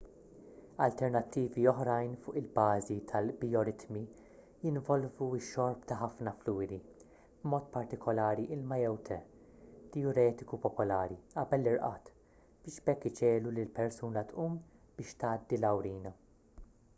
alternattivi oħrajn fuq il-bażi tal-bijoritmi jinvolvu x-xorb ta' ħafna fluwidi b'mod partikolari ilma jew te dijuretiku popolari qabel l-irqad biex b’hekk iġiegħlu lill-persuna tqum biex tgħaddi l-awrina